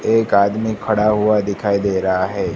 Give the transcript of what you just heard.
एक आदमी खड़ा हुआ दिखाई दे रहा है।